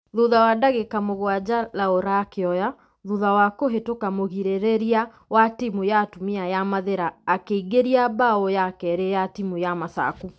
Thutha wa dagĩka mũgwaja laura akĩoya ......thutha wa kũhĩtoka mũgirereria wa timu ya atumia ya mathĩra akĩingĩria bao ya keri ya timũ ya masaku.